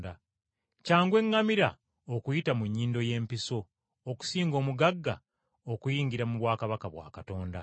Kyangu eŋŋamira okuyita mu nnyindo y’empiso okusinga omugagga okuyingira mu bwakabaka bwa Katonda.”